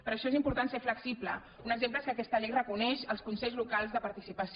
per això és important ser flexible un exemple és que aquesta llei reconeix els consells locals de participació